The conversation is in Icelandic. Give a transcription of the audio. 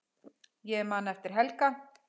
Ég man eftir Helga.